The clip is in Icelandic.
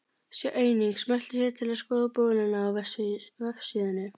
Sjá einnig: Smelltu hér til að skoða bolinn á vefsíðunni.